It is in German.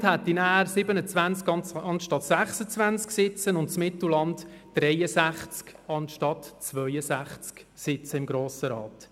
Das Seeland hätte dann 27 statt 26, das Mittelland 63 statt 62 Sitze im Grossen Rat.